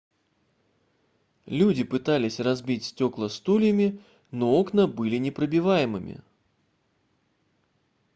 люди пытались разбить стекла стульями но окна были непробиваемыми